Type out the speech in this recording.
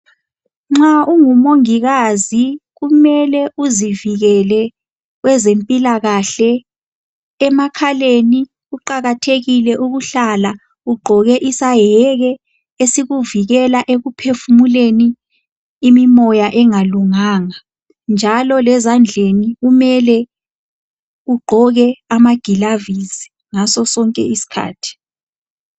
Nxa ungumongikazi kumele uzivikele kwezempilakahle emakhaleni kuqakathekile ukuhlala ugqoke isayeke esikuvikela ekuphefumuleni imimoya engalunganga njalo lezandleni kumele ugqoke amagilovisi ngaso sonke isikhathi.